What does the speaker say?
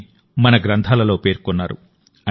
అని మన గ్రంథాలలో పేర్కొన్నారు